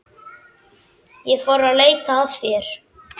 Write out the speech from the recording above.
Ég fór að leita að þér.